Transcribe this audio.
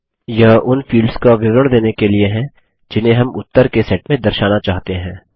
यह उन फील्ड्स का विवरण देने के लिए जिन्हें हम उत्तर के सेट में दर्शाना चाहते हैं